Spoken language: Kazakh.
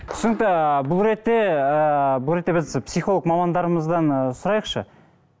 түсінікті ыыы бұл ретте ыыы бұл ретте біз психолог мамандарымыздан ы сұрайықшы